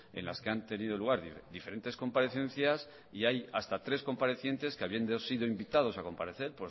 en las que han tenido lugar diferentes comparecencias y hay hasta tres comparecientes que habiendo sido invitados a comparecer